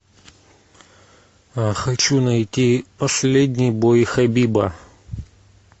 хочу найти последний бой хабиба